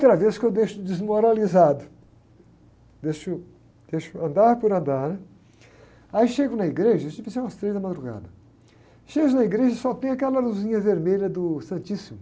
Outra vez que eu deixo desmoralizado, deixo, deixo andar por andar, né? Aí chego na igreja, isso devia ser umas três da madrugada, chego na igreja e só tem aquela luzinha vermelha do Santíssimo,